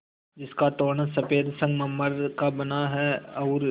जिसका तोरण सफ़ेद संगमरमर का बना है और